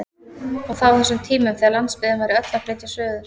Og það á þessum tímum þegar landsbyggðin væri öll að flytja suður!